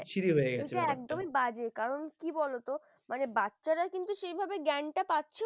এটা একদমই বাজে কারণ কি বলতো মানে বাচ্চারা কিন্তু, সেভাবে জ্ঞানটা পাছেও না